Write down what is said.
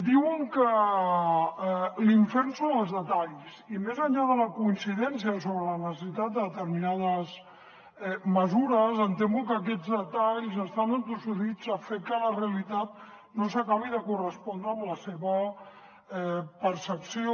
diuen que l’infern són els detalls i més enllà de la coincidència sobre la necessitat de determinades mesures em temo que aquests detalls estan entossudits a fer que la realitat no s’acabi de correspondre amb la seva percepció